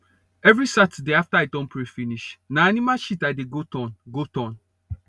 every saturday after i don pray finish na animal shit i dey go turn go turn